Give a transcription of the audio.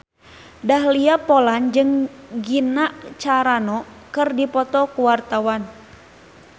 Dahlia Poland jeung Gina Carano keur dipoto ku wartawan